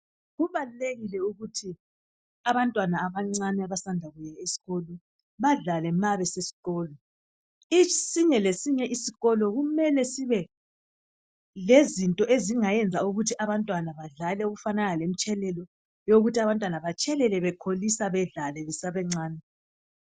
Kubalulekile ukuthi abantwana abancane abasanda kuya esikolo badlale ma besesikolo isinye lesinye isikolo kumele sibe lezinto ezingayenza ukuthi abantwana badlale okufanana lomtshelelo yokuthi abantwana betshelele bekholisa badlale besesebancane.